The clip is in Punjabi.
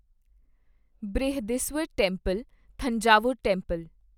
Brihadeeswarar temple Thanjavur temple